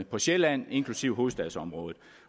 på sjælland inklusive hovedstadsområdet